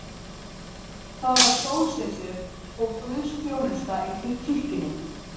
Það var sólsetur og guðsþjónusta í kirkjunni.